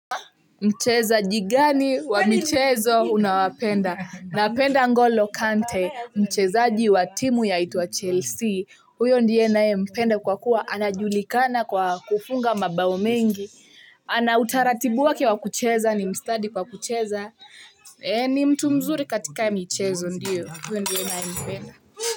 Mchezaji gani wa michezo unaowapenda. Napenda ngolo kante, mcheza ji watimu ya itwa Chelsea. Huyondiye naye mpenda kwa kuwa, ana julikana kwa kufunga mabao mengi. Ana utaratibuwake wa kucheza, ni mstadi kwa kucheza. Ni mtumzuri katika michezo ndio, huyondiye naye mpenda.